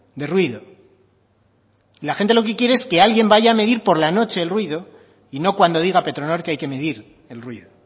de ruido la gente lo que quiere es que alguien vaya a medir por la noche el ruido y no cuando diga petronor que hay que medir el ruido